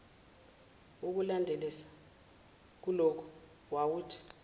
wokulandelisa kuloku wawuthi